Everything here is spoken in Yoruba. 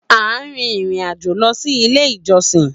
A n rin irin ajo lọ si ile ijọsin